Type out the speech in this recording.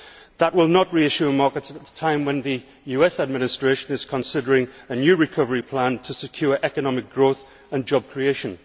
That will not reassure markets at a time when the US Administration is considering a new recovery plan to secure economic growth and job creation.